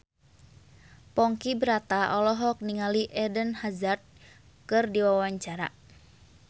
Ponky Brata olohok ningali Eden Hazard keur diwawancara